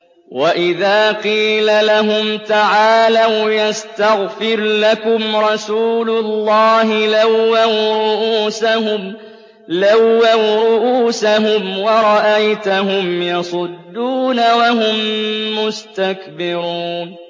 وَإِذَا قِيلَ لَهُمْ تَعَالَوْا يَسْتَغْفِرْ لَكُمْ رَسُولُ اللَّهِ لَوَّوْا رُءُوسَهُمْ وَرَأَيْتَهُمْ يَصُدُّونَ وَهُم مُّسْتَكْبِرُونَ